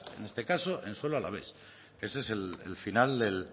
en este caso en suelo alavés ese es el final del